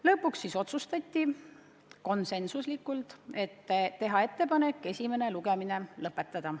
Lõpuks otsustati konsensuslikult teha ettepanek esimene lugemine lõpetada.